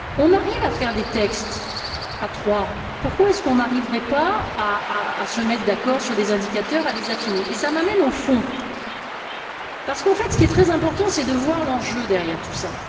On arrive à faire des textes à trois, pourquoi n'arriverait on pas à se mettre d'accord sur des indicateurs, à les affiner? Cela m'amène au fond, parce qu'en fait, ce qui est très important, c'est de voir l'enjeu derrière tout cela.